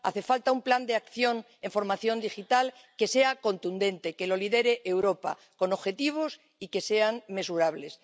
Hace falta un plan de acción en formación digital que sea contundente, que lo lidere Europa, con objetivos y que sean mesurables.